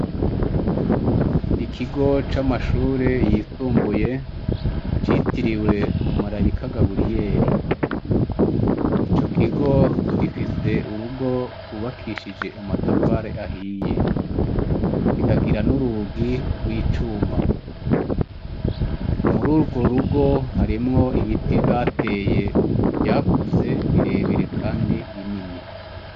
Ikigo c'amashuri yisumbuye citiriwe umumarayika Gaburiyeri. Icokigo gifise urugo gwubakishije amatafari ahiye. Kikagira n'urugi gw'icuma. Murugwo rugo harimwo ibiti bateye birebire kandi binini.